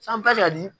San t'a fɛ ka di